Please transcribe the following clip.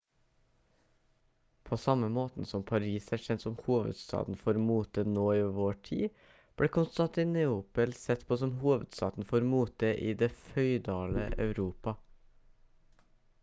på samme måten som paris er kjent som hovedstaden for mote nå i vår tid ble konstantinopel sett på som hovedstaden for mote i det føydale europa